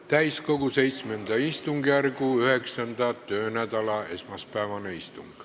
Täiskogu VII istungjärgu 9. töönädala esmaspäevane istung.